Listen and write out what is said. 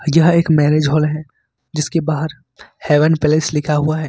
क्या एक marriage hall है जिसके बाहर हेवन प्लेस लिखा हुआ है।